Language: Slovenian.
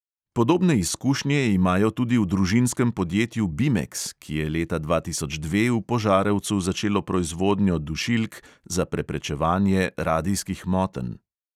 Podobne izkušnje imajo tudi v družinskem podjetju bimeks, ki je leta dva tisoč dve v požarevcu začelo proizvodnjo dušilk za preprečevanje radijskih motenj.